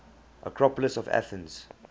acropolis of athens